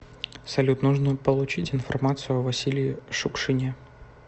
салют нужно получить информацию о василии шукшине